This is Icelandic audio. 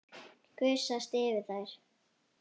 Gusast yfir þær.